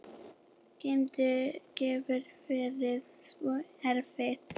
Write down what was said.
Hann getur verið svo erfiður